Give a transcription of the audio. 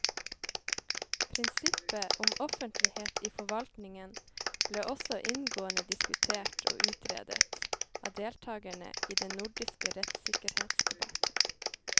Prinsippet om offentlighet i forvaltningen ble også inngående diskutert og utredet av deltakerne i den nordiske rettssikkerhetsdebatten.